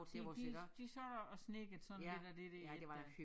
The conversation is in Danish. De de de sad og snedkrede sådan lidt af det der ik da